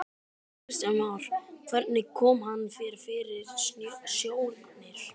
Kristján Már: Hvernig kom hann þér fyrir sjónir?